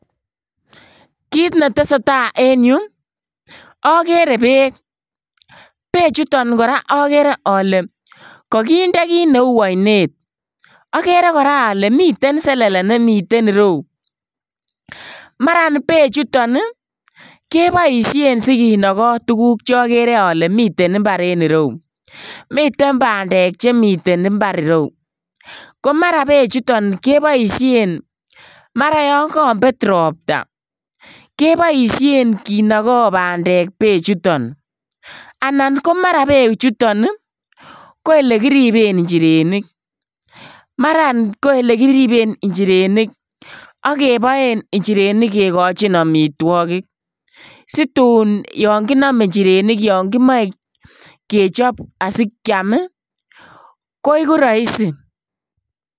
Kit netesee taa en yu okere beek, bechuton kiraa okere ole kokinde kit neu oinet, okere koraa ole miten selele nemiten ireu maran bechuton ii keboisien sikinoko tuguk chokere ole miten imbar en ireu, miten bandek chemiten imbar ireu komaran bechuton keboisien yon kokobet ropta keboisien kinogo bandek bechuton, anan komaran bechuton ko ele kiriben inchirenik, maran ko elekiriben inchirenik ak keboen inchirenik kikochin omitwogik situn yon kinome inchirenik yon kimoe kechop asikiam ii koiku roisi.